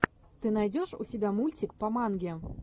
ты найдешь у себя мультик по манге